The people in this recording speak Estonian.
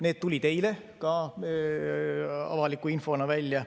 Need tulid eile ka avaliku infona välja.